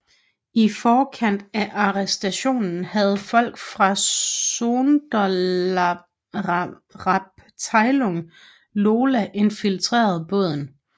I forkant af arrestationen havde folk fra Sonderabteilung Lola infiltreret båden